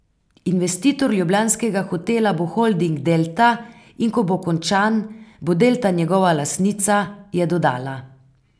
Investitor ljubljanskega hotela bo holding Delta in ko bo končan, bo Delta njegova lastnica, je dodala.